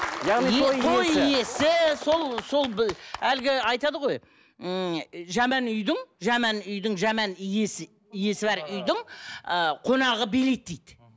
яғни той иесі сол сол әлгі айтады ғой ммм жаман үйдің жаман үйдің жаман иесі иесі бар үйдің ы қонағы билейді дейді